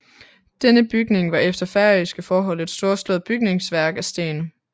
Denne bygning var efter færøske forhold et storslået bygningsværk af sten